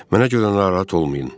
Mənə görə narahat olmayın.